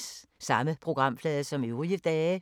Samme programflade som øvrige dage